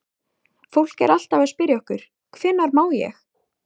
Fólk er alltaf að spyrja okkur: Hvenær má ég?